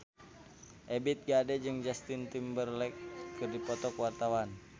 Ebith G. Ade jeung Justin Timberlake keur dipoto ku wartawan